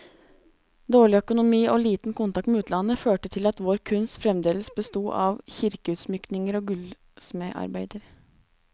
Dårlig økonomi og liten kontakt med utlandet, førte til at vår kunst fremdeles besto av kirkeutsmykninger og gullsmedarbeider.